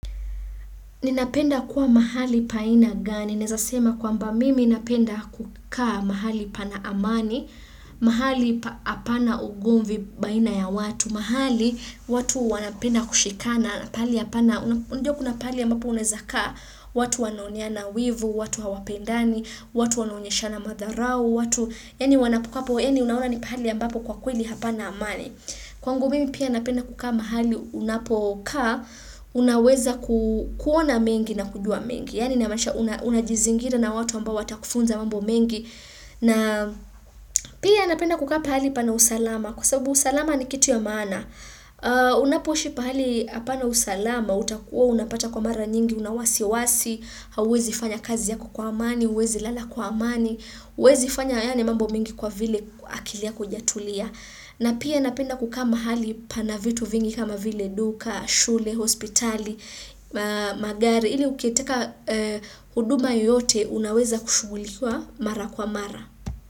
Ninapenda kuwa mahali pa aina gani, naeza sema kwamba mimi napenda kukaa mahali pana amani, mahali apana ugomvi baina ya watu, mahali watu wanapenda kushikana, na pali apana, unajua kuna pali ambapo unaeza kaa, watu wanaoneana wivu, watu hawapendani, watu wanaonyeshana madharau, watu, yaani wanapo hapo, yaani unaona ni pahali ambapo kwa kweli hapana amani. Kwangu mimi pia napenda kukaa mahali unapokaa, unaweza kuona mengi na kujua mengi, yaani namaanisha unajizingira na watu ambao watakufunza mambo mengi, na pia napenda kukaa pahali pana usalama, kwa sabu usalama ni kitu ya maana, unapoishi pahali hapana usalama, utakuwa unapata kwa mara nyingi, una wasiwasi, hauwezi fanya kazi yako kwa amani, huwezi lala kwa amani, huwezi fanya yaani mambo mengi kwa vile akili yaho haijatulia. Na pia napenda kukaa mahali pana vitu vingi kama vile duka, shule, hospitali, magari ili ukitaka huduma yoyote unaweza kushugulikiwa mara kwa mara.